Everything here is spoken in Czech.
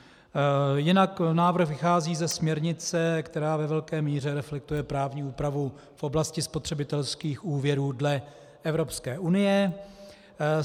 Jinak návrh vychází ze směrnice, která ve velké míře reflektuje právní úpravu v oblasti spotřebitelských úvěrů dle Evropské unie.